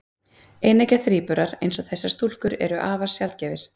Eineggja þríburar, eins og þessar stúlkur, eru afar sjaldgæfir.